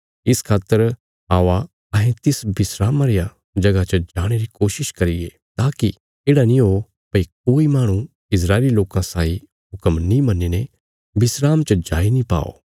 इस खातर आओ अहें तिस विस्राम रिया जगह च जाणे री कोशिश करिये ताकि येढ़ा नीं हो भई कोई माहणु इस्राएली लोकां साई हुक्म नीं मन्नीने विस्राम च जाई नीं पाओ